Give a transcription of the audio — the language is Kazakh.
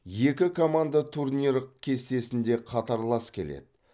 екі команда турнир кестесінде қатарлас келеді